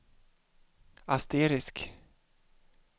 asterisk